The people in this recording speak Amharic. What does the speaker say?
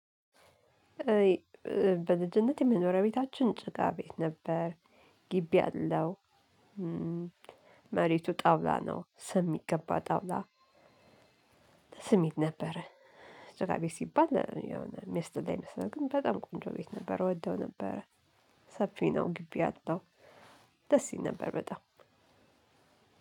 በልጅነቴ የመኖሪያ ቤታችን ጭቃ ቤት ነበር ግቢ አለው መሬቱ ጠውላ ነው ስም የሚቀባ ጠውላ ስሜት ነበረ ጭቃ ቤት ሲባል የሆነ ሚያስጠላ ይመስላል ግን በጣም ቆንጆ ቤት ነበር እወደው ነበረ ሰፊ ነው ግቢ አለው ደስ ይል ነበር በጣም።